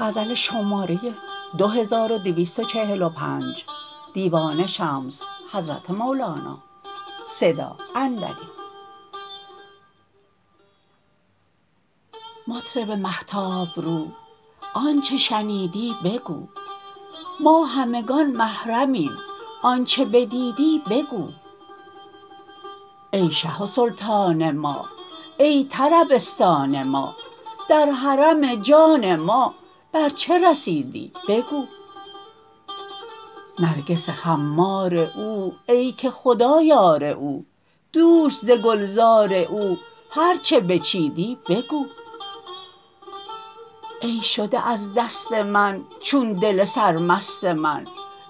مطرب مهتاب رو آنچ شنیدی بگو ما همگان محرمیم آنچ بدیدی بگو ای شه و سلطان ما ای طربستان ما در حرم جان ما بر چه رسیدی بگو نرگس خمار او ای که خدا یار او دوش ز گلزار او هر چه بچیدی بگو ای شده از دست من چون دل سرمست من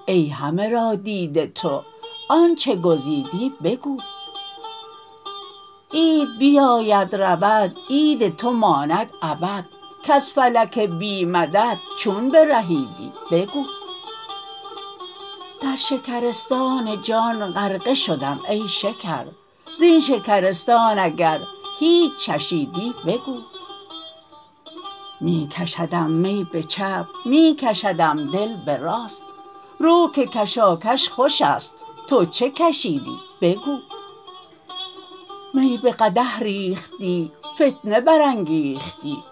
ای همه را دیده تو آنچ گزیدی بگو عید بیاید رود عید تو ماند ابد کز فلک بی مدد چون برهیدی بگو در شکرستان جان غرقه شدم ای شکر زین شکرستان اگر هیچ چشیدی بگو می کشدم می به چپ می کشدم دل به راست رو که کشاکش خوش است تو چه کشیدی بگو می به قدح ریختی فتنه برانگیختی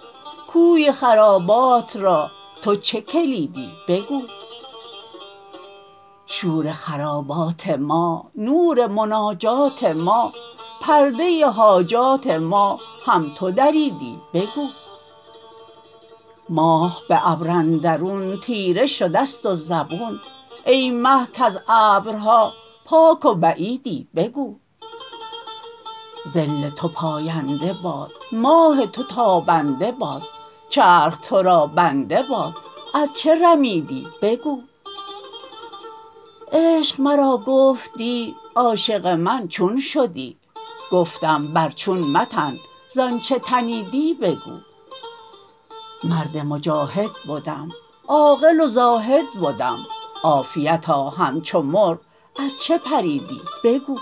کوی خرابات را تو چه کلیدی بگو شور خرابات ما نور مناجات ما پرده حاجات ما هم تو دریدی بگو ماه به ابر اندرون تیره شده ست و زبون ای مه کز ابرها پاک و بعیدی بگو ظل تو پاینده باد ماه تو تابنده باد چرخ تو را بنده باد از چه رمیدی بگو عشق مرا گفت دی عاشق من چون شدی گفتم بر چون متن ز آنچ تنیدی بگو مرد مجاهد بدم عاقل و زاهد بدم عافیتا همچو مرغ از چه پریدی بگو